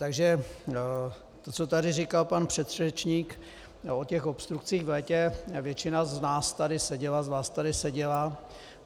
Takže to, co tady říkal pan předřečník o těch obstrukcích v létě - většina z nás tady seděla, z vás tady seděla.